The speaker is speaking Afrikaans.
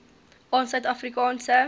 aan suid afrikaanse